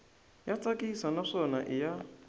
ya tsakisa naswona i ya